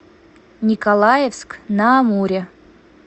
николаевск на амуре